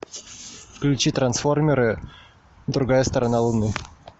включи трансформеры другая сторона луны